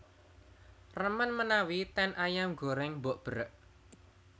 Remen menawi ten Ayam Goreng Mbok Berek